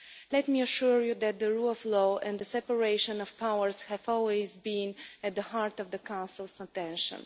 Let me assure you that the rule of law and the separation of powers have always been at the heart of the Council's attention.